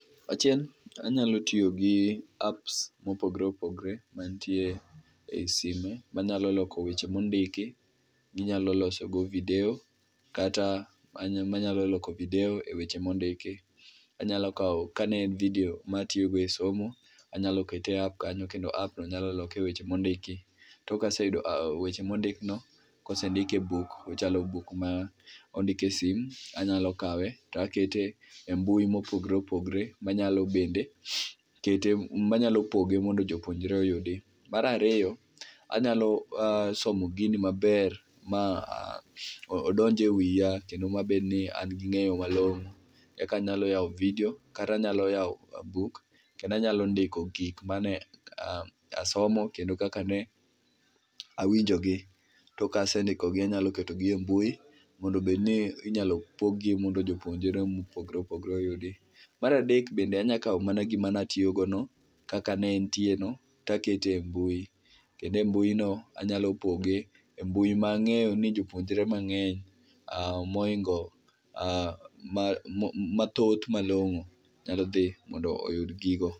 Achiel, anyalo tiyo gi apps mopogore opogore mantie e sime manyalo loko weche mondiki ,ginyalo loso go video kata anyalo, manya loko video e wech emondiki. Anyalo kao ,kane en video matiyo go e somo, anyalo kete e app kanyo kendo app no nyalo loke e weche mondiki. Tok kaseyudo weche mondik no ,kosendik e buk, ochalo buk ma ondik e sim, anyalo kawe takete e mbui mopogore opogore manyalo bende kete, manyalo poge mondo jopuonjre oyudi. Mar ariyo anyalo somo gini maber ma odonj e wiya kendo mabedni an gi ngeyo malongo eka anyalo yao video kata anyalo yao buk kendo anyalo ndiko gik mage asomo kendo kaka ne awinjogi, to kasendikogi anyalo ketogi e mbui mondo bedni inyalo pog gi mondo jopuonjre mopogore opogore oyudgi. Mar adek bende anyalo mana kao gima natiyo go no kaka ne entie no takete mbui, kendo e mbui no anyalo poge e mbui mangeyo ni jopuonjre mangeny, mohingo, mathoth malongo nyalo dhi mondo oyud gigo